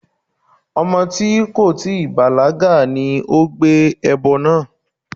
Ọmọ tí kò tíì bàlágà ni ó gbé ẹbọ náà.